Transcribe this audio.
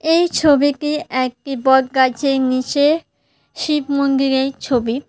এই ছবিটি একটি বটগাছের নীচে শিব মন্দিরের ছবি।